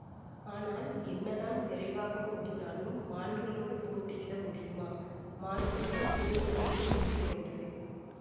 ஆனால் என்னதான் விரைவாக ஓடினாலும் மான்களோடு போட்டியிட முடியுமா மான் கூட்டம் பூங்குழலியை முந்தி கொண்டது